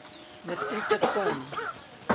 metrieke ton